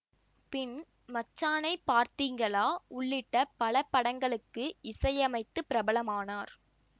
பின் மச்சானை பார்த்தீங்களா உள்ளிட்ட பல படங்களுக்கு இசையமைத்து பிரபலமானார்